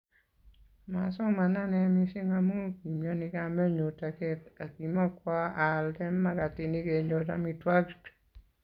Masomanee mising amu kimiani kamenyu taket akimakwo aalde makatinik kenyor amitwokik